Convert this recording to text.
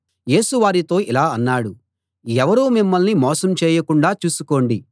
యేసు వారితో ఇలా అన్నాడు ఎవరూ మిమ్మల్ని మోసం చేయకుండా చూసుకోండి